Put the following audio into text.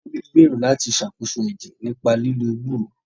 Tobi gbèrò láti ṣàkóso ẹ̀jẹ̀ nípa lílo ewúro